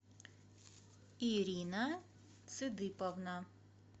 ирина цыдыповна